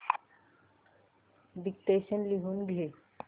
dictation लिहून घे